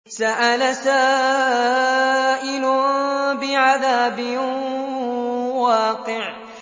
سَأَلَ سَائِلٌ بِعَذَابٍ وَاقِعٍ